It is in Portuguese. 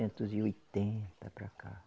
e oitenta para cá.